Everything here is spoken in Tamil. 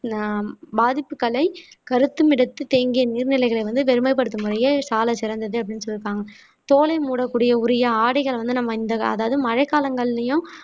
அஹ் பாதிப்புகளை கருத்துமிடத்தில் தேங்கிய நீர்நிலைகளை வந்து பெருமைப்படுத்தும் முறையே சாலச் சிறந்தது அப்படீன்னு சொல்லி இருக்காங்க தோலை மூடக்கூடிய உரிய ஆடைகளை வந்து நம்ம இந்த கா அதாவது மழைக்காலங்களிலேயும்